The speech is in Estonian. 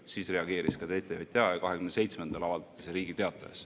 Siis reageeris ka TTJA ja 27-ndal avaldati see Riigi Teatajas.